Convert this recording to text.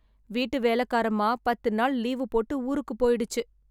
வீட்டு வேலக்காரமா பத்து நாள் லீவு போட்டு ஊருக்குப் போயிடுச்சு.